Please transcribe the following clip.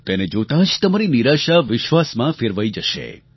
તેને જોતાં જ તમારી નિરાશા વિશ્વાસમાં ફેરવાઈ જશે